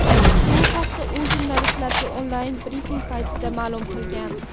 Bu haqda u jurnalistlarga onlayn brifing paytida ma’lum qilgan .